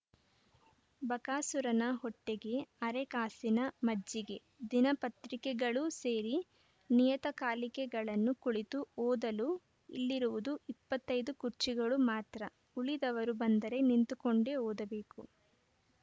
ಬಕಾಸೂರನ ಹೊಟ್ಟೆಗೆ ಅರೆ ಕಾಸಿನ ಮಜ್ಜಿಗೆ ದಿನಪತ್ರಿಕೆಗಳೂ ಸೇರಿ ನಿಯತಕಾಲಿಕೆಗಳನ್ನು ಕುಳಿತು ಓದಲು ಇಲ್ಲಿರುವುದು ಇಪ್ಪತ್ತ್ ಐದು ಕುರ್ಚಿಗಳು ಮಾತ್ರ ಉಳಿದವರು ಬಂದರೆ ನಿಂತುಕೊಂಡೆ ಓದಬೇಕು